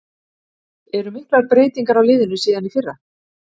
Eru miklar breytingar á liðinu síðan í fyrra?